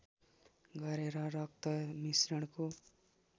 गरेर रक्त मिश्रणको